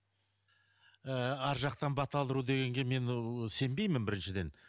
ыыы арғы жақтан бата алдыру дегенге мен ол сенбеймін біріншіден